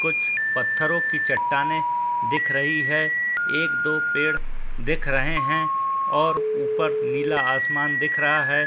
कुछ पत्थरों कीं चट्टानें दिख रही हैं। एक दो पेड़ दिख रहे हैं और ऊपर नीला आसमान दिख रहा हैं।